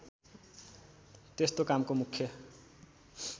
त्यस्तो कामको मुख्य